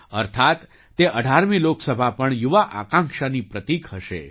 અર્થાત્ તે 18મી લોકસભા પણ યુવા આકાંક્ષાની પ્રતીક હશે